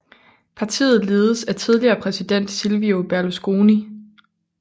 Partiet ledes af tidligere præsident Silvio Berlusconi